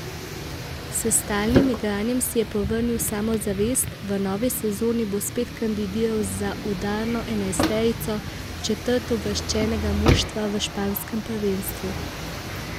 S stalnim igranjem si je povrnil samozavest, v novi sezoni bo spet kandidiral za udarno enajsterico četrtouvrščenega moštva v španskem prvenstvu.